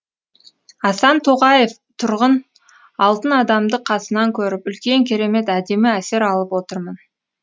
асан тоғаев тұрғын алтын адамды қасынан көріп үлкен керемет әдемі әсер алып отырмын